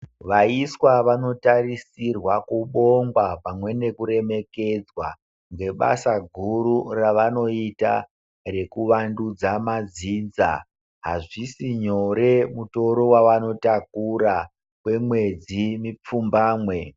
Vaiswa vanotarisirwa kubongwa pamwe nekuremekedzwa nebasa guru ravanoita rekuwandudza madzinza azvisi nyore mutoro wavanotakura kwemwedzi mipfumbamwe.